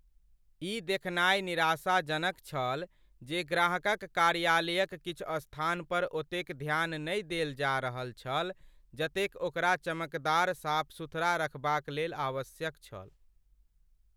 ई देखनाय निराशाजनक छल जे ग्राहकक कार्यालयक किछु स्थान पर ओतेक ध्यान नहि देल जा रहल छल जतेक ओकरा चमकदार साफ सुथरा रखबाक लेल आवश्यक छल।